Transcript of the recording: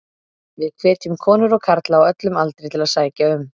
Við hvetjum konur og karla á öllum aldri til að sækja um.